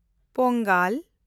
Pongal